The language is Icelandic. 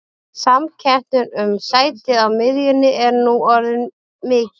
Samkeppnin um sæti á miðjunni er nú orðin mikil.